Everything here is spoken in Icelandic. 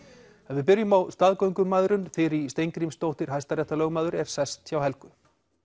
við byrjum á staðgöngumæðrun Þyrí Steingrímsdóttir hæstaréttarlögmaður er sest hjá Helgu